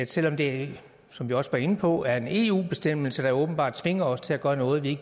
selv om det som vi også var inde på er en eu bestemmelse der åbenbart tvinger os til at gøre noget vi